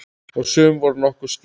Og sum voru nokkuð skýr.